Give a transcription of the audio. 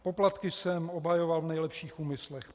Poplatky jsem obhajoval v nejlepších úmyslech.